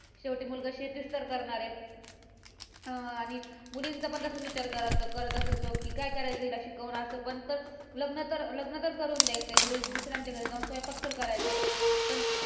शेवटी मुलगा शेतीच तर करणार आहे. अं आणि मुलींचं पण तसाच विचार करत करत असत लोक काय करायचे हिला शिकवून असं पण तर लग्न तर लग्न तर करून द्यायचे घरी दुसऱ्यांच्या घरी जाऊन स्वयंपाक तर करायचं. पण